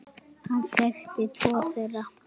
Hann þekkti tvo þeirra.